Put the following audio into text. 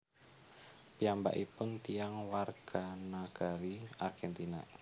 Piyambakipun tiyang warganagari Argentina